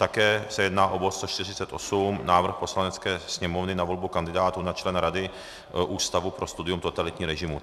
Také se jedná o bod 148 - Návrh Poslanecké sněmovny na volbu kandidátů na člena Rady Ústavu pro studium totalitních režimů.